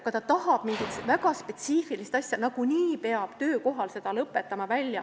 Kui nad tahavad mingit väga spetsiifilist töötajat, siis nagunii peab teda töökohal välja õpetama.